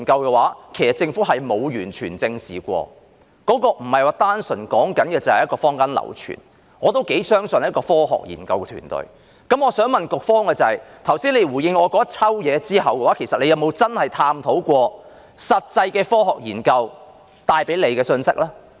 現在說的不是單純的坊間流傳，而是我也頗相信的科學研究團隊的發現，我想問局方在剛才給我一大堆回應後，有否確切探討過實際的科學研究帶出的信息呢？